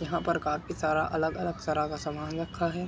जहां पर काफी सारा अलग-अलग तरह का सामान रखा है।